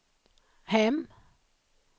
hem